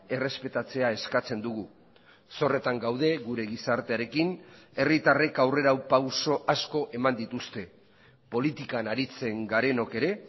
errespetatzea eskatzen dugu zorretan gaude gure gizartearekin herritarrek aurrerapauso asko eman dituzte politikan aritzen garenok ere